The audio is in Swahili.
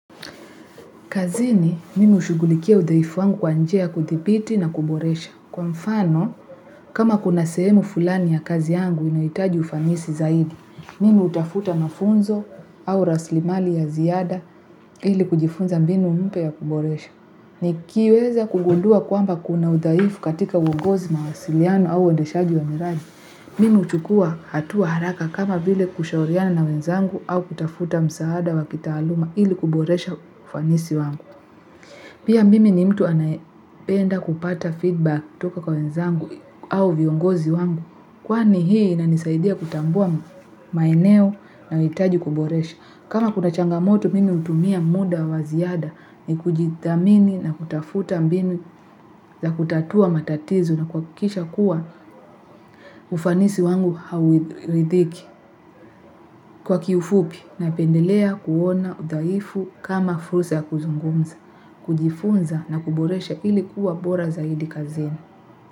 Kazini, mimi hushugulikia udhaifu wangu kwa njia kudhibiti na kuboresha. Kwa mfano, kama kuna sehemu fulani ya kazi yangu inaitaji ufanisi zaidi, mimi hutafuta mafunzo au raslimali ya ziada ili kujifunza mbinu mpya ya kuboresha. Nikiweza kugudua kwamba kuna udhaifu katika uongozi mawasiliano au uendeshagi wa miradi, mimi hushukua hatua haraka kama vile kushauriana na wenzangu au kutafuta msaada wa kitaaluma ili kuboresha ufanisi wangu. Pia mimi ni mtu anaependa kupata feedback kutoka kwa wenzangu au viongozi wangu. Kwani hii inanisaidia kutambua maeneo na huhitaji kuboresha. Kama kuna changamoto mimi hutumia muda wa ziada nikujitathmini na kutafuta mbinu za kutatua matatizo na kuhakisha kuwa ufanisi wangu hauathiriki. Kwa kiufupi, napendelea kuona udhaifu kama fursa yakuzungumza, kujifunza na kuboresha ili kuwa bora zaidi kazini.